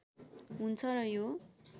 हुन्छ र यो